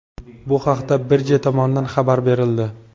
Bu haqda birja tomonidan xabar berildi .